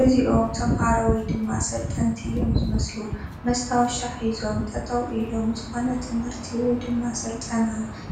እዚኦም ተመሃሮ ወይ ድማ ሰልጠንቲ እዮም ዝመስሉ ፡ መስታቀሻ ሒዞም ጠጠው ኢሎም ዝኽናነ ት/ቲ ወይ ድማ ስልጠና